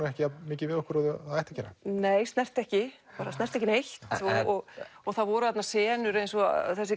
ekki jafnmikið við okkur og það ætti að gera nei snerti ekki bara snerti ekki neitt og það voru þarna senur eins og þessi